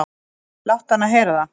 """Láttu hana heyra það,"""